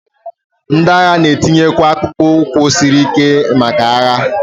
ndị agha na-eyikwa akpụkpọ ụkwụ siri ike maka agha